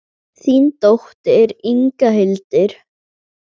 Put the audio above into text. Þín dóttir, Inga Hildur.